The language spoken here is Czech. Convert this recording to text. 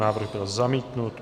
Návrh byl zamítnut.